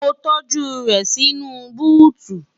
mo tọ́́jú rẹ̀ nínú búùtù